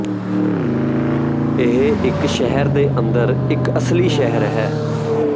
ਇਹ ਇੱਕ ਸ਼ਹਿਰ ਦੇ ਅੰਦਰ ਇੱਕ ਅਸਲੀ ਸ਼ਹਿਰ ਹੈ